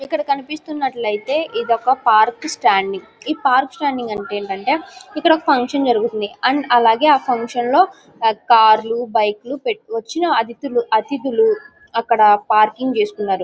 ఇక్కడ కనిపిస్తున్నట్టయితే ఇదొక పార్క్ స్టాండింగ్ . ఈ పార్క్ స్టాండింగ్ అంటే ఏంటంటే ఇక్కడొక ఫంక్షన్ జరుగుతుంది. అలాగే ఆ ఫంక్షన్ లో కార్ లు బైక్ పెట్టుకో వచ్చిన అతిధి -అతిధులు అక్కడ పార్కింగ్ చేసుకున్నారు